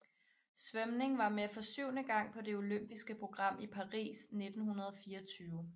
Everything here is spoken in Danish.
Svømning var med for syvende gang på det olympiske program i Paris 1924